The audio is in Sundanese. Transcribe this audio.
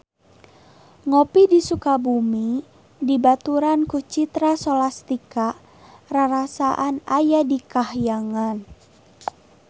Ngopi di Sukabumi dibaturan ku Citra Scholastika rarasaan aya di kahyangan